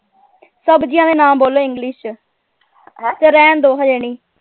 ਸਬਜ਼ੀਆਂ ਦੇ ਨਾਂ ਬੋਲੋ english ਚ ਚੱਲੋ ਰਹਿਣ ਦੋ ਹਜੇ ਨਹੀਂ।